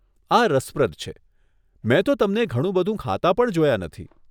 આ રસપ્રદ છે, મેં તો તમને ઘણું બધું ખાતા પણ જોયા નથી.